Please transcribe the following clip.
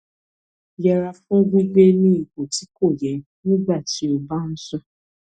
yẹra fún gbígbé ní ipò tí kò yẹ nígbà tí o bá ń sùn